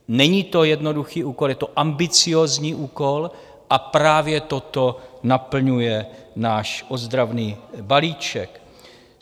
Není to jednoduchý úkol, je to ambiciózní úkol a právě toto naplňuje náš ozdravný balíček.